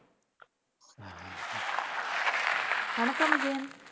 வணக்கம் விஜயன்